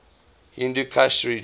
hindu kush region